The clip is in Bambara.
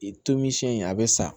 Tomi siyɛn in a bɛ sa